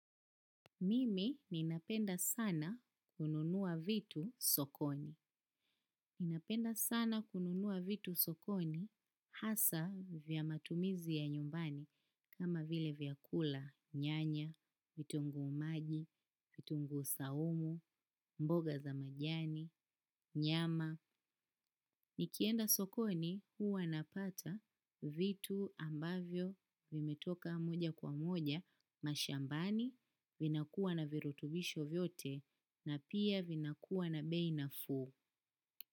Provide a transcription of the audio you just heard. Mimi ninapenda sana kununua vitu sokoni. Ninapenda sana kununua vitu sokoni hasa vya matumizi ya nyumbani kama vile vyakula nyanya, vitunguu maji, vitunguu saumu, mboga za majani, nyama. Nikienda sokoni huwa napata vitu ambavyo vimetoka moja kwa moja mashambani vinakuwa na virutubisho vyote na pia vinakuwa na bei nafuu.